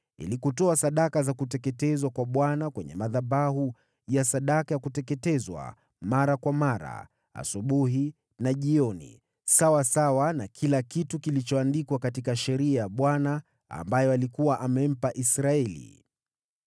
ili kutoa sadaka za kuteketezwa kwa Bwana kwenye madhabahu ya sadaka ya kuteketezwa mara kwa mara, asubuhi na jioni, sawasawa na kila kitu kilichoandikwa katika sheria ya Bwana ambayo alikuwa amempa Israeli.